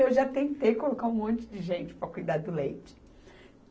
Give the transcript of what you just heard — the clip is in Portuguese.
Eu já tentei colocar um monte de gente para cuidar do leite.